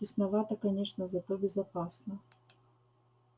тесновато конечно зато безопасно